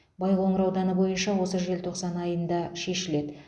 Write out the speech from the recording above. байқоңыр ауданы бойынша осы желтоқсан айында шешіледі